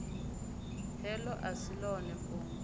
heḽo a si ḽone fhungo